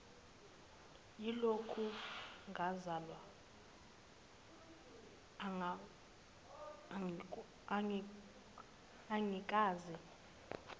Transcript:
yilokhu ngazalwa angikaze